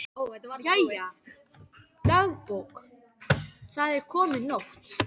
Jæja, dagbók, það er komin nótt.